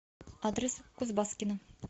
адрес кузбасскино